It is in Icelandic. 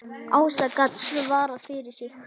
Ása gat svarað fyrir sig.